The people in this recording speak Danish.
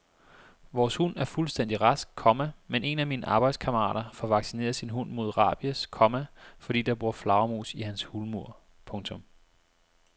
Vores hund er fuldstændig rask, komma men en af mine arbejdskammerater får vaccineret sin hund mod rabies, komma fordi der bor flagermus i hans hulmur. punktum